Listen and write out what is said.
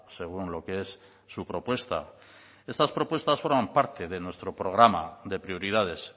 según lo que es su propuesta estas propuestos fueron parte de nuestro programa de prioridades